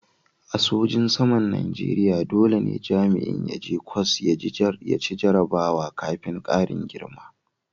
A sojin saman Najeriya dole ne jami'in ya je ƙwas ya ci jarrabawa kafin karin girma.